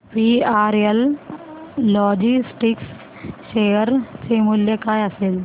VRL logistics share चे मूल्य काय असेल